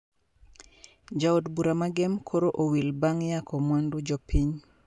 Ja od bura ma gem koro owil bang` yako mwandu jopiny